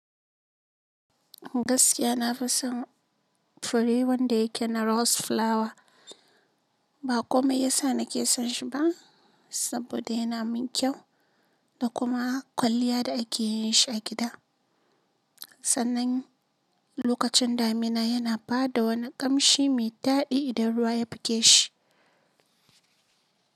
Gaskiya na fi son fure wanda yake na rose flower. Ba komai yasa nake son shi ba saboda yana min kyau da kuma kwalliya da ake yin shi a gida. Sannan lokacin damina yana ba da wani ƙamshi mai daɗi idan ruwa ya buge shi.